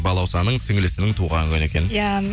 балаусаның сіңлісінің туған күні екен иә